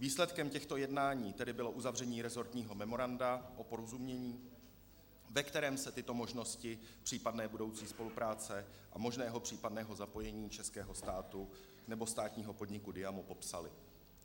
Výsledkem těchto jednání tedy bylo uzavření resortního memoranda o porozumění, ve kterém se tyto možnosti případné budoucí spolupráce a možného případného zapojení českého státu nebo státního podniku Diamo popsaly.